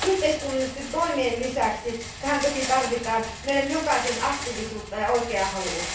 Yhteiskunnallisten toimien lisäksi tähän toki tarvitaan meidän jokaisen aktiivisuutta ja oikeaa halua.